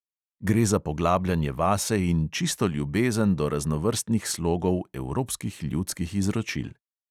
Gre za poglabljanje vase in čisto ljubezen do raznovrstnih slogov evropskih ljudskih izročil.